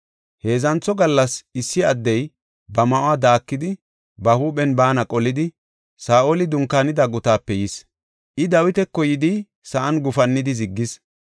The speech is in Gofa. Heedzantho gallas issi addey ba ma7uwa daakidi, ba huuphen baana qolidi, Saa7oli dunkaanida gutaape yis. I Dawitako yidi sa7an gufannidi ziggis.